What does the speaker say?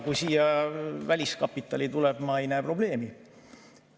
Kui siia väliskapitali tuleb, siis ma ei näe probleemi.